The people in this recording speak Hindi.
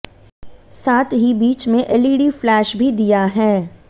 साथ ही बीच में एलईडी फ्लैश भी दिया है